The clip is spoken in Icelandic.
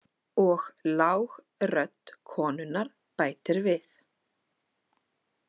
Og lág rödd konunnar bætir við.